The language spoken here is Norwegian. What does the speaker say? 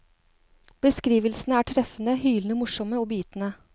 Beskrivelsene er treffende, hylende morsomme og bitende.